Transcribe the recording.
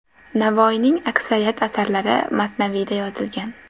Navoiyning aksariyat asarlari masnaviyda yozilgan.